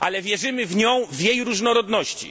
Ale wierzymy w nią w jej różnorodności.